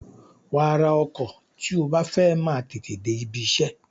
Wàá ra ọkọ̀ tí o bá fẹ́ máa tètè dé ibiṣẹ́.